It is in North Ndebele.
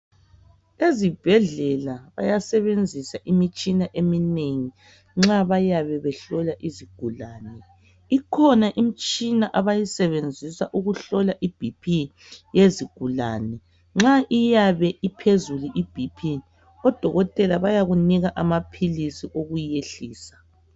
Ezibhedlela bayasebenzisa imitshina eminengi nxa bayabe behlola izigulane ikhona imitshina abayisebenzisa ukuhlola ibp yezigulane nxa iyabe iphezulu ibp odokotela bayakunika amaphilisi okuyehlisa.